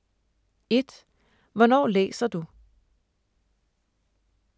1) Hvornår læser du?